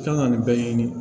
I kan ka nin bɛɛ ɲini